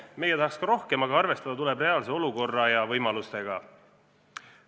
Meie tahaks ka rohkem, aga arvestada tuleb reaalse olukorra ja võimalustega.